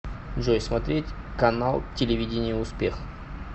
джой смотреть канал телевидения успех